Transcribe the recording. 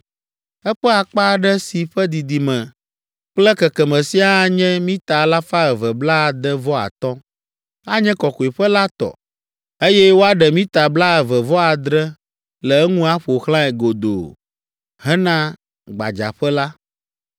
Eƒe akpa aɖe si ƒe didime kple kekeme siaa anye mita alafa eve blaade-vɔ-atɔ̃ (265), anye kɔkɔeƒe la tɔ, eye woaɖe mita blaeve-vɔ-adre le eŋu aƒo xlãe godoo hena gbadzaƒe la.